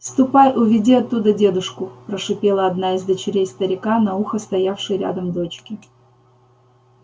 ступай уведи оттуда дедушку прошипела одна из дочерей старика на ухо стоявшей рядом дочке